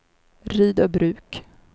Rydöbruk